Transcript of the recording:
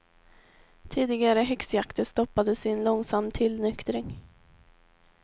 Tidigare häxjakter stoppades i en långsam tillnyktring.